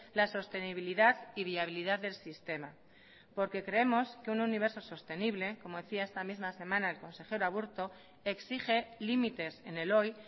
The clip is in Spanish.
la sostenibilidad y viabilidad del sistema porque creemos que un universo sostenible como decía esta misma semana el consejero aburto exige límites en el hoy